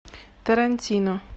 тарантино